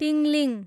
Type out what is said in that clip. Tingling